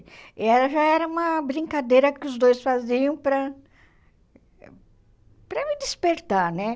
E ela já era uma brincadeira que os dois faziam para para me despertar, né?